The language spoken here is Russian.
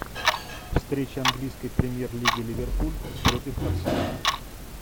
встреча английской премьер лиги ливерпуль против арсенала